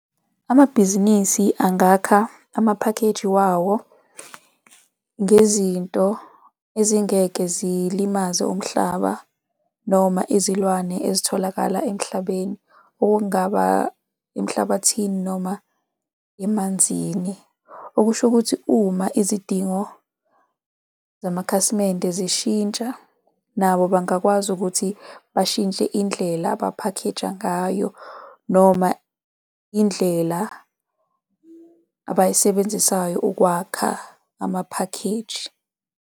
Amabhizinisi angakha amaphakheji wawo ngezinto ezingeke zilimaze umhlaba noma izilwane ezitholakala emhlabeni, okungaba emhlabathini noma emanzini. Okusho ukuthi uma izidingo zamakhasimende zishintsha nabo bangakwazi ukuthi bashintshe indlela abaphakheja ngayo noma indlela abayisebenzisayo ukwakha amaphakheji.